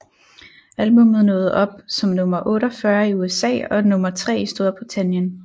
Albummet nåede op som nummer 48 i USA og nummer tre i Storbritannien